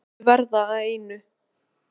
Að allt muni verða að einu.